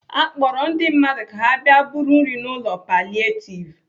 Akpọrọ ndị mmadụ ka ha bịa buru nri n'ụlọ palietiv